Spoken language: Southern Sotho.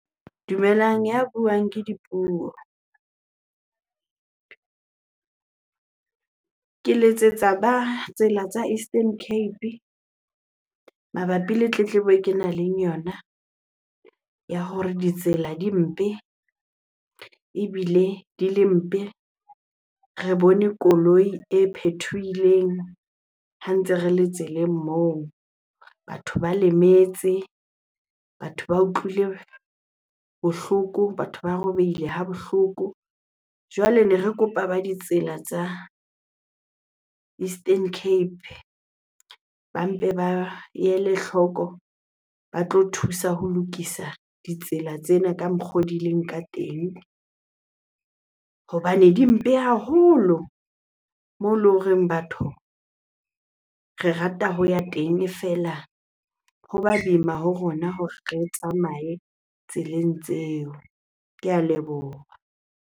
Dumelang, ya buang ke Dipuo. Ke letsetsa ba tsela tsa Eastern Cape mabapi le tletlebo e ke nang le yona ya hore ditsela di mpe. Ebile di le mpe, re bone koloi e phethohileng ha ntse re le tseleng moo. Batho ba lemetse, batho ba utlwile bohloko, batho ba robehile ha bohloko. Jwale ne re kopa ba ditsela tsa Eastern Cape ba mpe ba ele hloko ba tlo thusa ho lokisa ditsela tsena ka mokgo di leng ka teng hobane di mpe haholo moo eleng horeng batho re rata ho ya teng. E feela ho ba boima ho rona hore re tsamaye tseleng tseo. Ke a leboha.